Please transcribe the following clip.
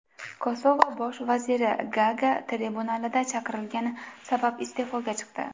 Kosovo bosh vaziri Gaaga tribunaliga chaqirilgani sabab iste’foga chiqdi.